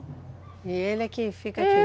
E ele é quem fica aqui? É.